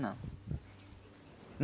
Não.